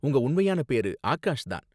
உங்க உண்மையான பேரு ஆகாஷ் தான்